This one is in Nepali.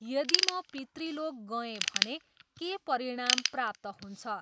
यदि म पितृलोक गएँ भने के परिणाम प्राप्त हुन्छ?